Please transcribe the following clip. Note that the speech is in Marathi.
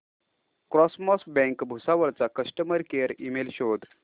कॉसमॉस बँक भुसावळ चा कस्टमर केअर ईमेल शोध